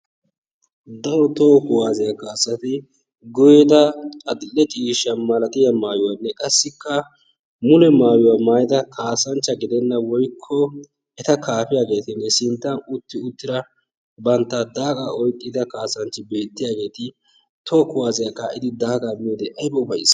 Daro toho kuwaasiya kassanchchati adil"e ciishshaa malatiya maayuwanne qassikka mule maayuwa maayiyda kaassanchcha giddenna woykko eta kaafiyageetinne sintta utti uttira bantta daagaa oyqqida kasanchchi beettiyageeti toho kuwaasiya kaa'idi daagaa miyode aybba ufayss!